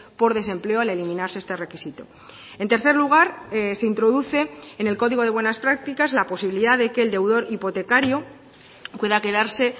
por desempleo al eliminarse este requisito en tercer lugar se introduce en el código de buenas prácticas la posibilidad de que el deudor hipotecario pueda quedarse